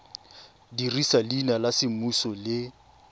dirisa leina la semmuso le